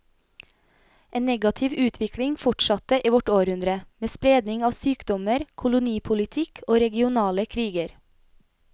En negativ utvikling fortsatte i vårt århundre, med spredning av sykdommer, kolonipolitikk og regionale kriger.